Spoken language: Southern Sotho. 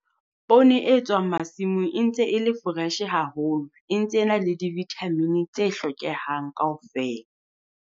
Poone e tswang masimong e ntse e le fresh haholo, e ntse ena le di-vitamin tse hlokehang kaofela.